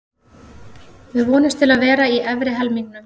Við vonumst til að vera í efri helmingnum.